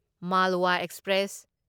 Malwa express